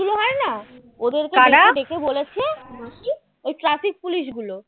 না ডেকে বলেছে কী ওই traffic police গুলো